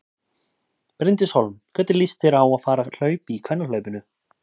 Bryndís Hólm: Hvernig líst þér á að fara að hlaupa í kvennahlaupinu?